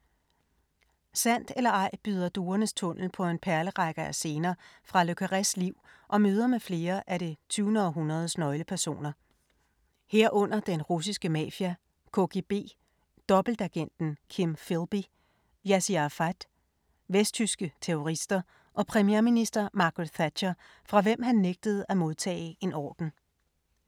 Sandt eller ej byder Duernes tunnel på en perlerække af scener fra le Carrés liv og møder med flere af det 20. århundredes nøglepersoner. Herunder den russiske mafia, KGB, dobbeltagenten Kim Philby, Yassir Arafat, vesttyske terrorister og premierminister Margaret Thatcher fra hvem han nægtede at modtage en orden.